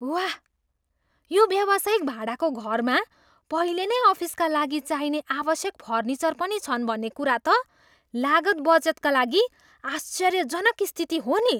वाह! यो व्यावसायिक भाडाको घरमा पहिले नै अफिसका लागि चाहिने आवश्यक फर्निचर पनि छन् भन्ने कुरा त लागत बचतका लागि आश्चर्यजनक स्थिति हो नि।